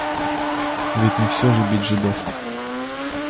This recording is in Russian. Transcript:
ведь не всё же бить жидов